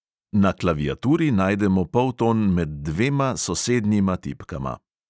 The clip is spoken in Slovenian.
Na klaviaturi najdemo polton med dvema sosednjima tipkama.